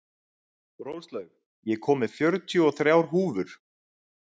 Róslaug, ég kom með fjörutíu og þrjár húfur!